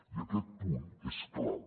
i aquest punt és clau